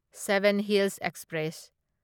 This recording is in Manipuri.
seven hills express